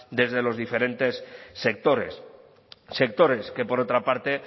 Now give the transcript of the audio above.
desde los diferentes sectores sectores que por otra parte